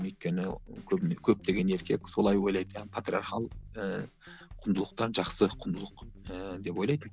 өйткені көбіне көптеген еркек солай ойлайды патриархал ыыы құндылықтар жақсы құндылық ііі деп ойлайды